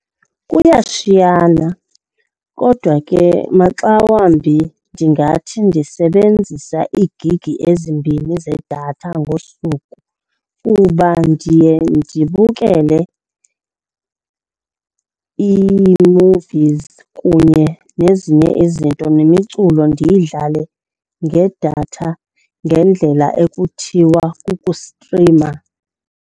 Kuyashiyana kodwa ke maxa wambi ndingathi ndisebenzisa iigigi ezimbini zedatha ngosuku kuba ndiye ndibukele ii-movies kunye nezinye izinto, nemiculo ndiyidlale ngedatha ngendlela ekuthiwa kukustrima.